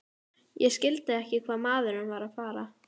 Ég skildi ekki hvað maðurinn var að fara.